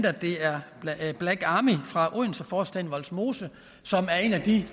at det er black army fra odenseforstaden vollsmose som er en af de